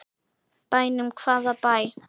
Bænum, hvaða bæ?